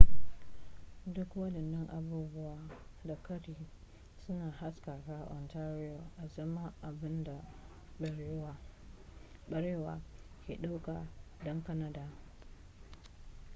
duk waɗannan abubuwa da ƙari suna haskaka ontario azaman abin da barewa ke ɗaukar ɗan kanada